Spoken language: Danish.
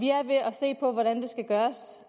se på hvordan det skal gøres